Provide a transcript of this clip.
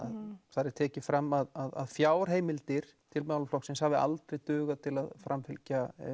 þar er tekið fram að fjárheimildir til málaflokksins hafi aldrei dugað til að framfylgja